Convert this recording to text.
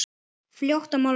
Fljótt að molna niður.